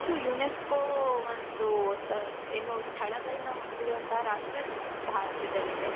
UNESCO ಒಂದು ಸ ಏನು ಸ್ಥಳಗಳನ್ನ ಹೊಂದಿರುವಂತ ರಾಷ್ಟ್ರ ಭಾರತದಲ್ಲಿದೆ.